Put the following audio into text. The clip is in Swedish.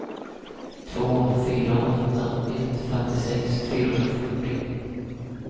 två fyra åtta ett femtiosex fyrahundrafyrtio